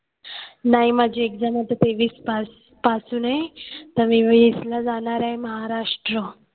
नाही माझी exam आता तेवीस पास पासून आहे. तर मी वीसला जाणार आहे महाराष्ट्र